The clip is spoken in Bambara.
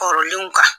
Kɔrɔlenw kan